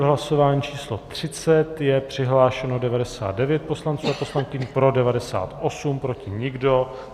V hlasování číslo 30 je přihlášeno 99 poslanců a poslankyň, pro 98, proti nikdo.